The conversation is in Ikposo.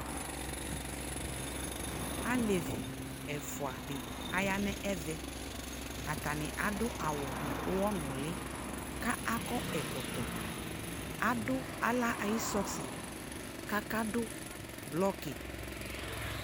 alɛvi ɛfʋa di ayanʋ ɛvɛ, atani adʋ nʋ ʋwɔ nʋ ɔwɔ li ka akɔ ɛkɔtɔ, adu ala ayi sɔsi ka aka dʋ blɔki